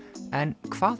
en hvað